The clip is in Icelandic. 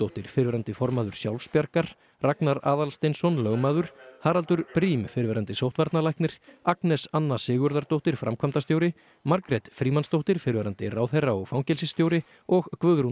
Ólafíudóttir fyrrverandi formaður Sjálfsbjargar Ragnar Aðalsteinsson lögmaður Haraldur Briem fyrrverandi sóttvarnalæknir Agnes Anna Sigurðardóttir framkvæmdastjóri Margrét Frímannsdóttir fyrrverandi ráðherra og fangelsisstjóri og Guðrún